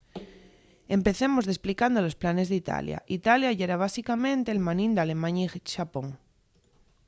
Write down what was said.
empecemos desplicando los planes d'italia italia yera básicamente l'hermanín d'alemaña y xapón